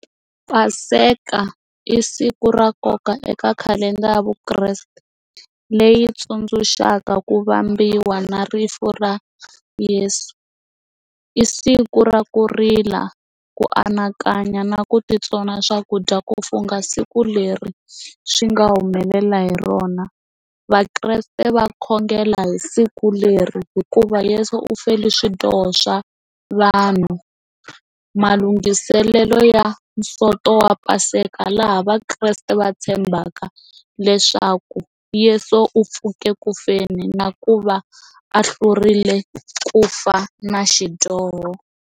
Paseka i siku ra nkoka eka khalendara ya vukreste leyi tsundzuxaka ku vambiwa na rifu ra Yeso, i siku ra ku rila ku anakanya na ku titsona swakudya ku fungha siku leri swi nga humelela hi rona vakreste va khongela hi siku leri hikuva leswi u fela swidyoho swa vanhu malunghiselelo ya nsoto wa paseka laha vakreste va tshembaka leswaku Yeso u pfuke ku feni na ku va a hlurile ku fa na xidyoho.